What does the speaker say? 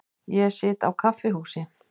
Ég sit á kaffihúsi.